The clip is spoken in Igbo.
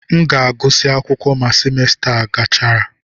M ga-agụsị akwụkwọ ma semester a gachara.